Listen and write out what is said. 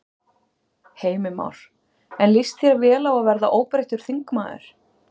Heimir Már: En líst þér vel á að verða óbreyttur þingmaður?